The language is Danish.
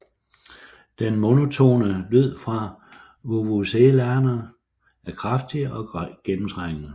Den monotone lyd fra vuvuzelaerne er kraftig og gennemtrængende